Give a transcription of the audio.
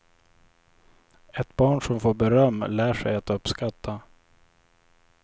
Ett barn som får beröm lär sig att uppskatta.